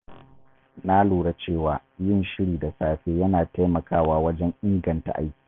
Na lura cewa yin shiri da safe yana taimakawa wajen inganta aiki.